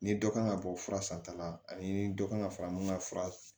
Ni dɔ kan ka bɔ fura san ta la ani dɔ kan ka fara mun ka fura